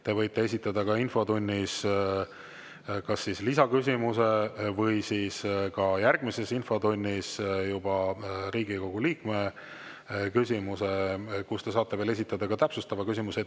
Te võite esitada infotunnis kas lisaküsimuse või järgmises infotunnis Riigikogu liikme küsimuse ja siis te saate veel esitada ka täpsustava küsimuse.